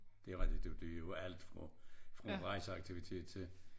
Det rigtig det det jo alt fra fra rejseaktivitet til